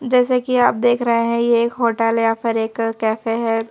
जैसे कि आप देख रहे हैं ये एक होटल या फिर एक कैफे हैं।